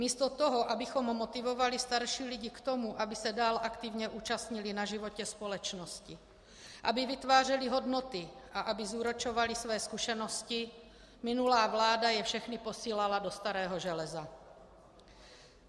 Místo toho, abychom motivovali starší lidi k tomu, aby se dál aktivně účastnili na životě společnosti, aby vytvářeli hodnoty a aby zúročovali své zkušenosti, minulá vláda je všechny posílala do starého železa.